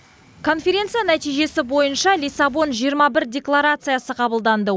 конференция нәтижесі бойынша лиссабон жиырма бір декларациясы қабылданды